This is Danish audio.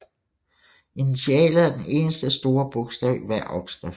Initialet er den eneste store bogstav i hver opskrift